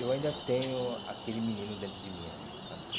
eu ainda tenho aquele menino dentro de mim ainda, sabe?